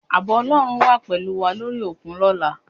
Ààbò Ọlọ́run á wà pẹ̀lú wà lórí òkun lọ́la